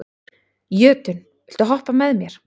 Jötunn, viltu hoppa með mér?